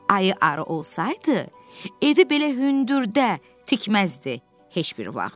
Ayı arı olsaydı, evi belə hündürdə tikməzdi heç bir vaxt.